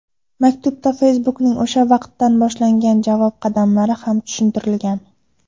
Maktubda Facebook’ning o‘sha vaqtdan boshlangan javob qadamlari ham tushuntirilgan.